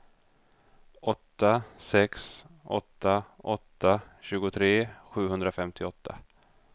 åtta sex åtta åtta tjugotre sjuhundrafemtioåtta